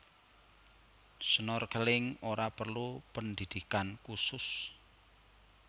Snorkeling ora perlu pendhidhikan khusus